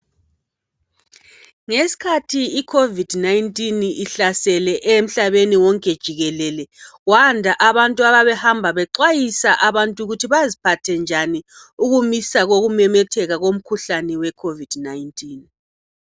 Ngesikhathi iCOVID 19 ihlasele emhlabeni wonke jikelele. Kwanda abantu ababehamba bexhwayisa abantu ukuthi baziphathe njani ukumisa kokumemetheka komkhuhlane we COVID 19.